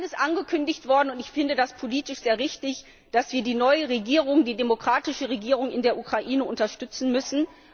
Dann ist angekündigt worden und ich finde das politisch sehr richtig dass wir die neue Regierung, die demokratische Regierung in der Ukraine unterstützen müssen.